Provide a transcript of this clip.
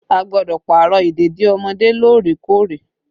A gbọ́dọ̀ Pààrọ̀ ìdèdí ọmọdé lóòrè kóòrè